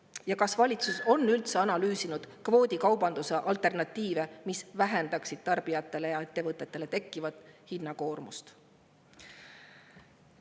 Ja kas valitsus on üldse analüüsinud kvoodikaubanduse alternatiive, mis vähendaksid tarbijatele ja ettevõtetele tekkivat hinnakoormust?